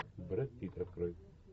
брэд питт открой